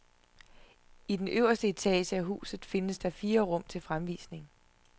I den øverste etage af huset findes der fire rum til fremvisning.